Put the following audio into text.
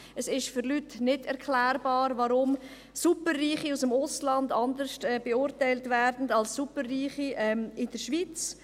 Es ist Leuten nicht erklärbar, weshalb Superreiche aus dem Ausland anders beurteilt werden als Superreiche in der Schweiz.